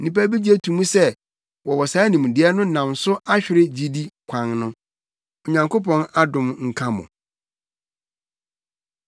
Nnipa bi gye to mu sɛ wɔwɔ saa nimdeɛ no nam so ahwere gyidi kwan no. Onyankopɔn adom nka mo.